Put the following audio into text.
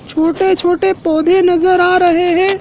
छोटे छोटे पौधे नजर आ रहें हैं।